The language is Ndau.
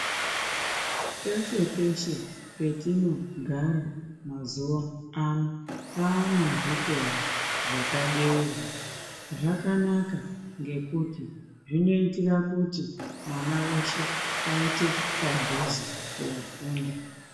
Peshe-peshe petinogara, mazuva ano, pane zvikora zvakabeurwa, zvakanaka ngekuti, zvinoitira kuti, mwana weshe, paite padhuze koofunda.